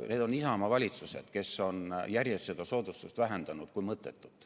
Need on olnud Isamaa valitsused, kes on järjest seda soodustust vähendanud kui mõttetut